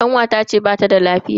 Kanwata ce bata da lafiya.